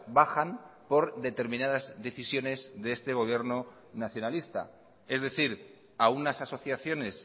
bajan por determinadas decisiones de este gobierno nacionalista es decir a unas asociaciones